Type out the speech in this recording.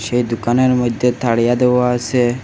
এই দোকানের মধ্যে তারিয়া দেওয়া আসে।